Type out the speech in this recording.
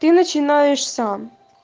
ты начинаешь сам